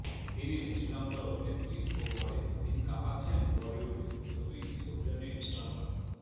তিনি শ্রীলঙ্কার অভিনেত্রী ও মডেল তিনি কাঁপাচ্ছেন বলিউডও ছবি সৌজন্যে ইনস্টাগ্রাম